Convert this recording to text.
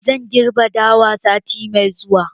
Zan girbi dawan sati mai zuwa.